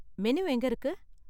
Menu எங்க இருக்கு?